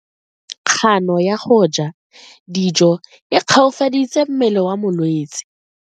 Kgano ya go ja dijo e koafaditse mmele wa molwetse.